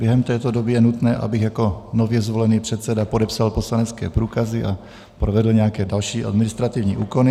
Během této doby je nutné, abych jako nově zvolený předseda podepsal poslanecké průkazy a provedl nějaké další administrativní úkony.